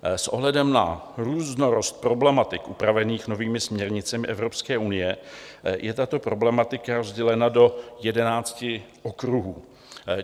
S ohledem na různorodost problematik upravených novými směrnicemi Evropské unie je tato problematika rozdělena do jedenácti okruhů.